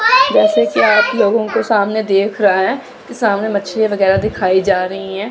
जैसे कि आप लोगों के सामने देख रहा है कि सामने मछली वगैरह दिखाई जा रही हैं।